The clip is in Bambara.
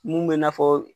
Mun bɛ na fɔ